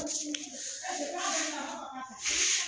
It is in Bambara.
Waunɛ yo yo yo